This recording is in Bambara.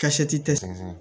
Ka se tɛ sɛnɛ